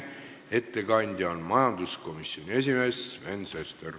Ettekandja on majanduskomisjoni esimees Sven Sester.